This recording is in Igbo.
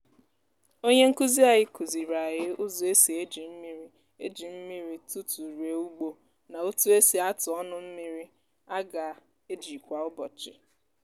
onye nkuzi anyị kụziri anyị ụzọ esi eji mmiri eji mmiri tụtụ rie ugbo na otu esi atụ ọnụ mmiri a ga-eji kwa ụbọchị.